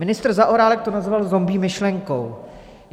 Ministr Zaorálek to nazval zombie myšlenkou.